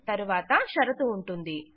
తరువాత షరతు ఉంటుంది